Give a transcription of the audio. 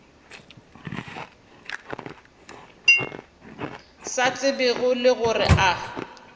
sa tsebego le gore a